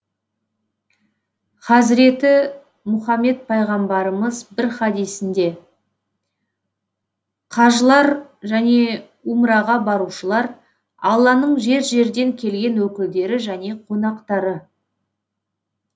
хазіреті мұхаммед пайғамбарымыз бір хадисінде қажылар және умраға барушылар алланың жер жерден келген өкілдері және қонақтары